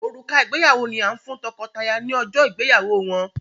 Òrùka ìgbéyàwó ni a n fún tọkọtaya ni ọjọ ìgbéyàwó wọn.